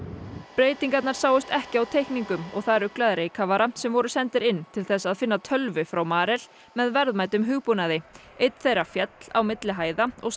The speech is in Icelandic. breytingarnar sáust ekki á teikningum og það ruglaði reykkafara sem voru sendir inn til þess að finna tölvu frá Marel með verðmætum hugbúnaði einn þeirra féll á milli hæða og